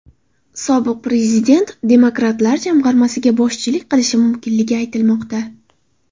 Sobiq prezident demokratlar jamg‘armasiga boshchilik qilishi mumkinligi aytilmoqda.